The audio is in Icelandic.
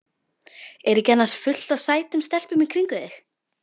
Er ekki annars fullt af sætum stelpum í kringum þig?